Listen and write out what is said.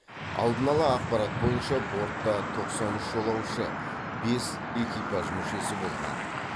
алдын ала ақпарат бойынша бортта тоқсан үш жолаушы бес экипаж мүшесі болған